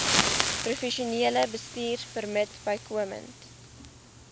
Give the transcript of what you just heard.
professionele bestuurpermit bykomend